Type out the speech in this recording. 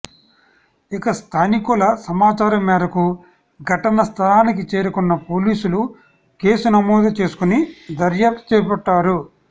ఇక స్థానికుల సమాచారం మేరకు ఘటన స్థలానికి చేరుకున్న పోలీసలు కేసు నమోదు చేసుకుని దర్యాప్తు చేపట్టారు